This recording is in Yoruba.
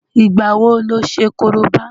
Ìgbà wo lo ṣe Korobá?